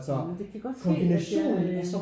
Ja men det kan godt ske at jeg øh